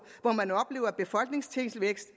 hvor man oplever befolkningstilvækst